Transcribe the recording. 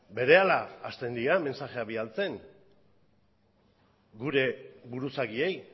berehala hastendira mensajeak bidaltzen gure buruzagiei